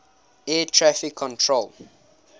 air traffic control